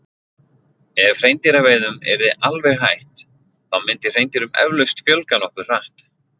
ef hreindýraveiðum yrði alveg hætt þá myndi hreindýrum eflaust fjölga nokkuð hratt